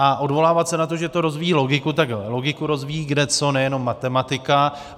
A odvolávat se na to, že to rozvíjí logiku - tak logiku rozvíjí kdeco, nejenom matematika.